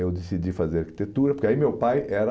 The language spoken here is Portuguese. Eu decidi fazer arquitetura, porque aí meu pai era...